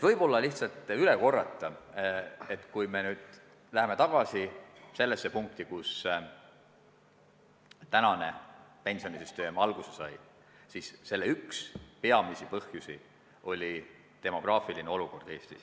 Võib-olla lihtsalt kordan üle, et kui me nüüd läheme tagasi sellesse aega, kus praegune pensionisüsteem alguse sai, siis on selge, et üks peamisi põhjusi oli demograafiline olukord Eestis.